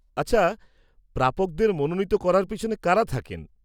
-আচ্ছা, প্রাপকদের মনোনীত করার পিছনে কারা থাকেন?